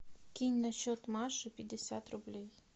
кинь на счет маши пятьдесят рублей